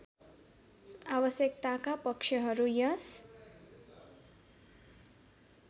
आवश्यकताका पक्षहरू यस